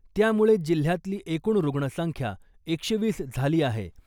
त्यामुळे जिल्ह्यातली एकूण रुग्णसंख्या एकशे वीस झाली आहे .